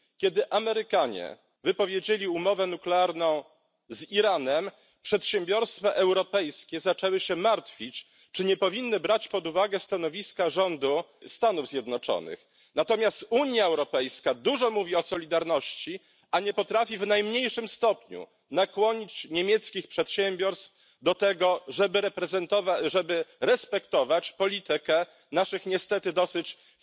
Kiedy Amerykanie wypowiedzieli umowę nuklearną z Iranem, przedsiębiorstwa europejskie zaczęły się martwić, czy nie powinny brać pod uwagę stanowiska rządu Stanów Zjednoczonych. Natomiast Unia Europejska dużo mówi o solidarności, a nie potrafi w najmniejszym stopniu nakłonić niemieckich przedsiębiorstw do tego, żeby respektowały politykę naszych niestety dosyć fikcyjnych sankcji.